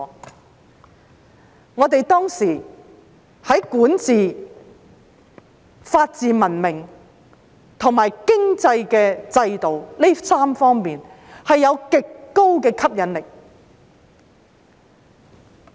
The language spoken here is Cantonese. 因為我們當時在管治、法治文明和經濟制度這3方面具極高吸引力。